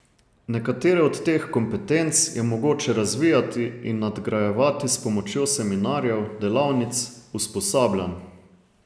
Nekatere od teh kompetenc je mogoče razvijati in nadgrajevati s pomočjo seminarjev, delavnic, usposabljanj ...